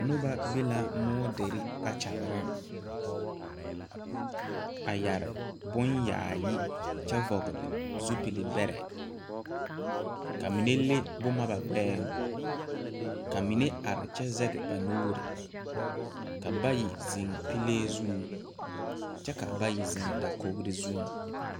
Noba be la moɔdere kpakyareŋ a yɛre boŋ yaayi kyɛ vɔgle zupilibɛrɛ ka ba mine le boma ba gbɛɛŋ ka mine are kyɛ zegi ba nuuri ka bayi zeŋ pilee zuŋ kyɛ ka bayi zeŋ dakogri zuŋ.